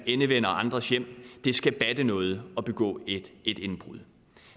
endevende andres hjem det skal batte noget at begå et indbrud